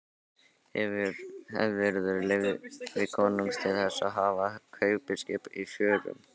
Hefurðu leyfi konungs til þess að hafa kaupskip í förum?